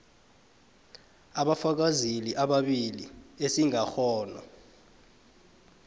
abafakazeli ababili esingakghona